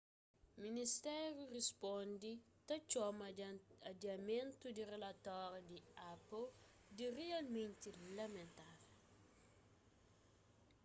ministériu risponde ta txoma adiamentu di rilatóriu di apple di rialmenti lamentável